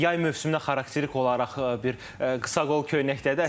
Yay mövsümünə xarakterik olaraq bir qısaqol köynəkdədir.